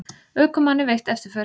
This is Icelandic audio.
Ökumanni veitt eftirför